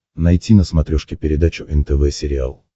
найти на смотрешке передачу нтв сериал